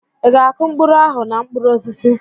Ị ga-akụ mkpụrụ ahụ na mkpụrụ osisi?